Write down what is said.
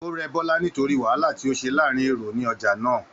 O rẹ Bọla nítorí wàhálà tí o se láàrin èrò ni ọjà náà.